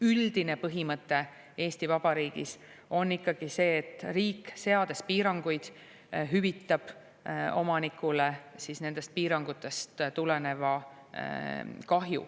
Üldine põhimõte Eesti Vabariigis on ikkagi see, et riik, seades piiranguid, hüvitab omanikule nendest piirangutest tuleneva kahju.